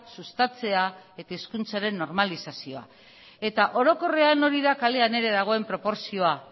sustatzea eta hizkuntzaren normalizazioa eta orokorrean hori da kalean ere dagoen proportzioa